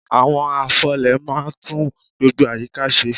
Àwọn afọlẹ̀ máa ń tún gbogbo àyíká ṣe.